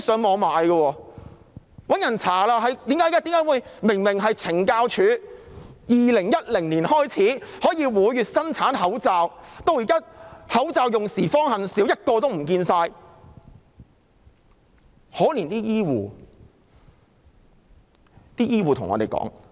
大家調查後發現懲教署由2010年開始每月生產口罩，但現在"口罩用時方恨少"，一個也找不到。